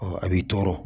a b'i tɔɔrɔ